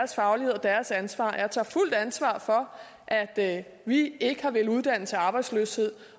deres ansvar jeg tager det fulde ansvar for at vi ikke har villet uddanne til arbejdsløshed